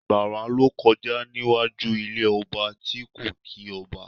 Àgbàrá ló kọjá níwájú ilé ọba tí kò kí ọba